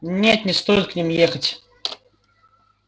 нет не стоит к ним ехать